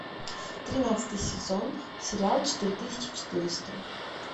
тринадцатый сезон сериал четыре тысячи четыреста